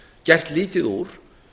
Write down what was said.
gert lítið úr